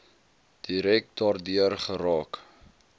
direk daardeur geraak